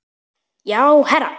Já, herra